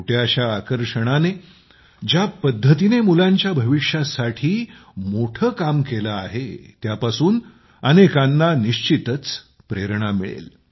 छोट्याशा आकर्षणाने ज्या पद्धतीने मुलांच्या भविष्यासाठी मोठं काम केलं आहे त्यापासून अनेकांना निश्चितच प्रेरणा मिळेल